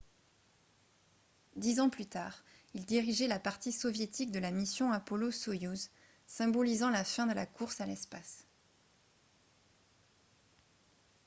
dix ans plus tard il dirigeait la partie soviétique de la mission apollo-soyouz symbolisant la fin de la course à l'espace